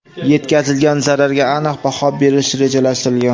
yetkazilgan zararga aniq baho berish rejalashtirilgan.